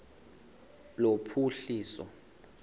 lophuhliso